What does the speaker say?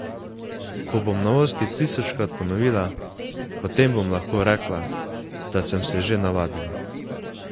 Ko bom novosti tisočkrat ponovila, potem bom lahko rekla, da sem se že navadila.